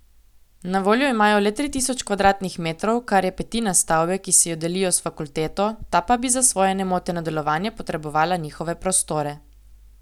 Na voljo imajo le tri tisoč kvadratnih metrov, kar je petina stavbe, ki si jo delijo s fakulteto, ta pa bi za svoje nemoteno delovanje potrebovala njihove prostore.